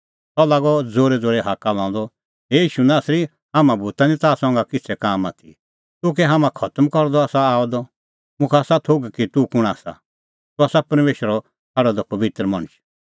सह लागअ ज़ोरैज़ोरै हाक्का लांदअ हे ईशू नासरी हाम्हां भूता निं ताह संघै किछ़ै काम आथी तूह कै हाम्हां खतम करदअ आसा आअ द मुखा आसा थोघ कि तूह कुंण आसा तूह आसा परमेशरै छ़ाडअ द पबित्र मणछ